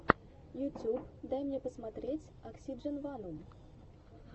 ютуб дай мне посмотреть оксидженванум